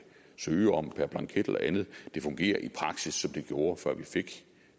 søge om per blanket eller andet det fungerer i praksis som det gjorde før vi fik